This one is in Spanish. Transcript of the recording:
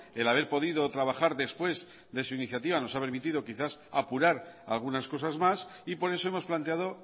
el haber podido trabajar después de su iniciativa nos ha permitido quizás apurar algunas cosas más y por eso hemos planteado